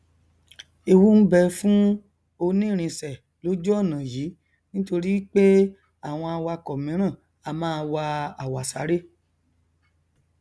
ewu n bẹ fún onírìnsè lójú ọnà yìí nítorípé àwọn awakọ míràn a máa wa àwàsaré